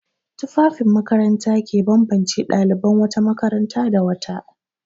Tufafin makaranta ke bambance ɗaliban wata makaranta da wata.